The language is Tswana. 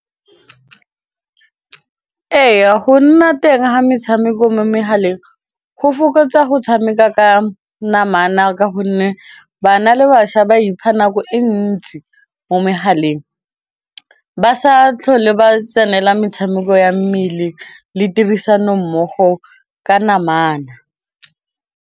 Ee, go nna teng ga metshameko mo megaleng go fokotsa go tshameka ka namana ka gonne bana le bašwa ba ipha nako e ntsi mo megaleng ba sa tlhole ba tsenela metshameko ya mmele le tirisanommogo ka namana.